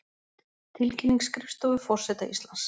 Tilkynning skrifstofu forseta Íslands